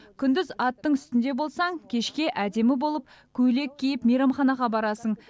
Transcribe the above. күндіз аттың үстінде болсаң кешке әдемі болып көйлек киіп мейрамханаға барасың